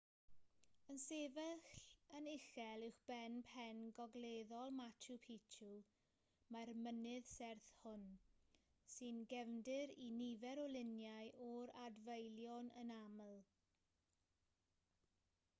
yn sefyll yn uchel uwchben pen gogleddol machu picchu mae'r mynydd serth hwn sy'n gefndir i nifer o luniau o'r adfeilion yn aml